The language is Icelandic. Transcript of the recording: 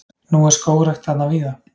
Nú er skógrækt þarna víða.